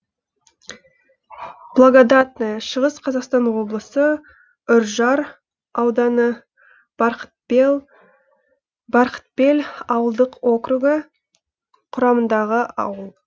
благодатное шығыс қазақстан облысы үржар ауданы барқытбел ауылдық округі құрамындағы ауыл